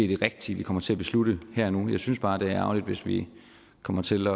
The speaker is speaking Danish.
det rigtige vi kommer til at beslutte her og nu jeg synes bare det er ærgerligt hvis vi kommer til